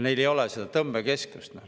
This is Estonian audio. Neil ei ole seda tõmbekeskust.